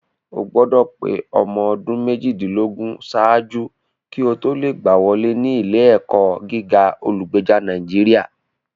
O gbọdọ̀ pé ọmọ ọdún méjìdínlógún ṣáájú kí o tó lè gbá wọlé ní ilé-ẹ̀kọ́ gíga olùgbèjà Nàìjíríà